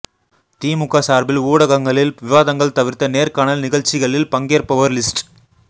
திமுக சார்பில் ஊடகங்களில் விவாதங்கள் தவிர்த்த நேர்காணல் நிகழ்ச்சிகளில் பங்கேற்பவர் லிஸ்ட்